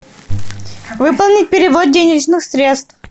выполнить перевод денежных средств